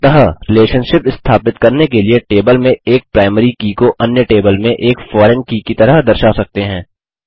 अतः रिलेशनशिप स्थापित करने के लिए टेबल में एक प्राइमरी की को अन्य टेबल में एक फॉरेन की की तरह दर्शा सकते हैं